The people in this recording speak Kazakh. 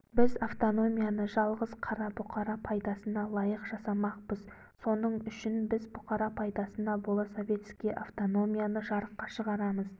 біз автономияны жалғыз қара бұқара пайдасына лайық жасамақпыз соның үшін біз бұқара пайдасына бола советский автономияны жарыққа шығарамыз